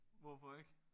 Hvorfor ikke?